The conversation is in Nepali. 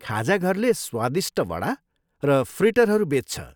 खाजाघरले स्वादिष्ट वडा र फ्रिटरहरू बेच्छ।